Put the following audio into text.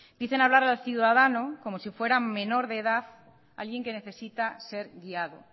dicen hablar al ciudadano como si fuera menor de edad alguien que necesita ser guiado